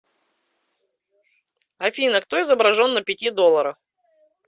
афина кто изображен на пяти долларах